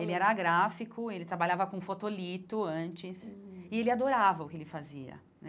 Ele era gráfico, ele trabalhava com fotolito antes, e ele adorava o que ele fazia né.